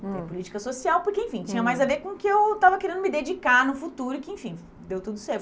Hum, Tem política social, porque, enfim, tinha mais a ver com o que eu estava querendo me dedicar no futuro e que, enfim, deu tudo